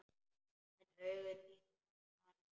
En augu þín hafa talað.